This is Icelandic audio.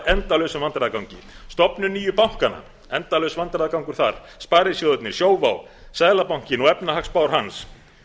endalausum vandræðagangi stofnun nýju bankanna endalaus vandræðagangur þar sparisjóðirnir sjóvá seðlabankinn og efnahagsspár hans